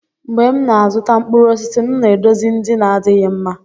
mgbe m na-azụta mkpụrụ osisi, m na-edozi ndị na-adịghị mma.